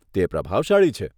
તે પ્રભાવશાળી છે.